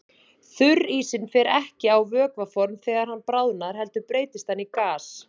Þurrísinn fer ekki á vökvaform þegar hann bráðnar heldur breytist hann í gas.